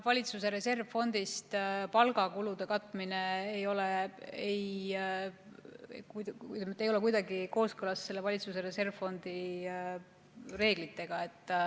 Valitsuse reservfondist palgakulude katmine ei ole kuidagi kooskõlas selle valitsuse reservfondi reeglitega.